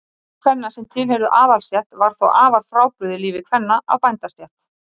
líf kvenna sem tilheyrðu aðalsstétt var þó afar frábrugðið lífi kvenna af bændastétt